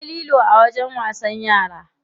Akwai lilo a wajen wasan yara.